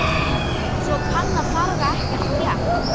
Svona panna þarf ekkert pjatt.